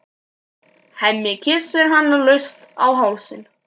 Hemmi kyssir hana laust á hálsinn.